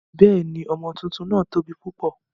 Bẹ́ẹ̀ni, ọmọ tuntun náà tóbi púpọ̀.